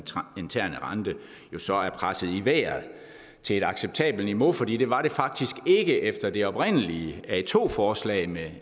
interne rente så er presset i vejret til et acceptabelt niveau for det det var det faktisk ikke efter det oprindelige a2 forslag med